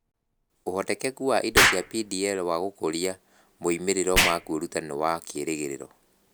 Ũhotekeku wa indo cia DPL wa gũkũria moimĩrĩro ma kwĩruta nĩ wa kĩĩrĩgĩrĩro.